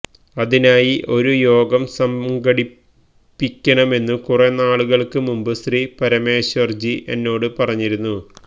അതിനായി ഒരു യോഗം സംഘടിപ്പിക്കണമെന്നു കുറെനാളുകള്ക്ക് മുമ്പ് ശ്രീ പരമേശ്വരന്ജി എന്നോടു പറഞ്ഞിരുന്നു